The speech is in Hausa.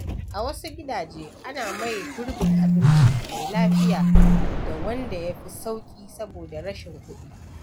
A wasu gidaje, ana maye gurbin abinci mai lafiya da wanda ya fi sauƙi saboda rashin kuɗi.